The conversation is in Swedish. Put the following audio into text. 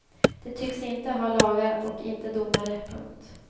De tycks inte ha lagar och inte domare. punkt